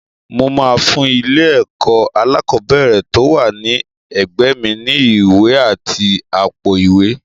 Mo máa fún ilé-ẹ̀kọ́ alákọ̀ọ́ bẹ̀rẹ̀ tó wà ní agbègbè mi ní ìwé àti àpò-ìwé.